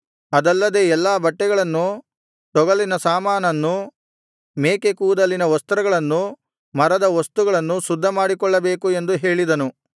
ಅದಲ್ಲದೆ ಎಲ್ಲಾ ಬಟ್ಟೆಗಳನ್ನೂ ತೊಗಲಿನ ಸಾಮಾನನ್ನೂ ಮೇಕೆ ಕೂದಲಿನ ವಸ್ತ್ರಗಳನ್ನು ಮರದ ವಸ್ತುಗಳನ್ನು ಶುದ್ಧ ಮಾಡಿಕೊಳ್ಳಬೇಕು ಎಂದು ಹೇಳಿದನು